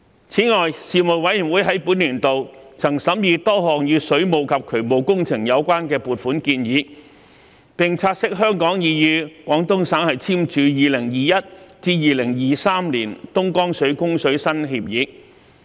此外，事務委員會在本年度曾審議多項與水務及渠務工程有關的撥款建議，並察悉香港已與廣東省簽署2021年至2023年的東江水供水新協議。